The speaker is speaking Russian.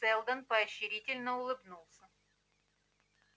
сэлдон поощрительно улыбнулся